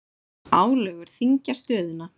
Álögur þyngja stöðuna